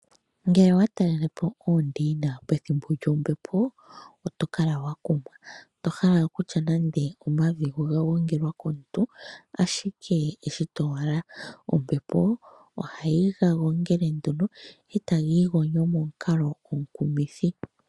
Ngele owa talele po oondeina pethimbo lyombepo oto kala wakumwa tohala okutya nande omavi ngono oga gongelwa komuntu ashike eshito owala, ombepo ohayi gagongele nduno eta giigonyo momukalo omukumithi.